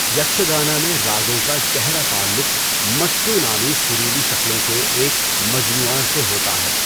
یکشگانا میں راگوں کا گہرا تعلق مٹّو نامی سریلی شکلوں کے ایک مجموعہ سے ہوتا ہے۔